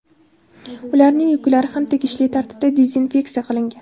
Ularning yuklari ham tegishli tartibda dezinfeksiya qilingan.